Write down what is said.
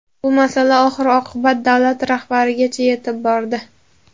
Bu masala oxir-oqibat davlat rahbarigacha yetib bordi.